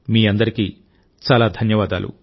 మీ అందరికీ చాలా ధన్యవాదాలు